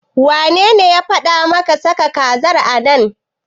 Wanene ya faɗa maka saka kazar a nan?